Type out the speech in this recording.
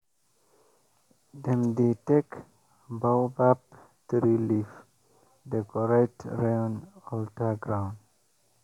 the rain priest dey always blow horn wey dem carve from buffalo horn every time rainy season reach.